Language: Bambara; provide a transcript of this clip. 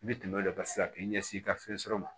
I bɛ tɛmɛ o de kan sisan k'i ɲɛsin i ka fɛn sɔrɔ ma